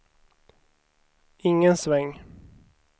ingen sväng